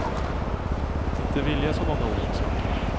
Inte vilja så många olika saker.